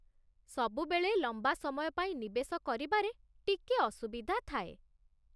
ସବୁବେଳେ ଲମ୍ବା ସମୟ ପାଇଁ ନିବେଶ କରିବାରେ ଟିକେ ଅସୁବିଧା ଥାଏ